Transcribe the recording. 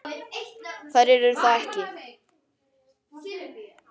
Þær eru það ekki.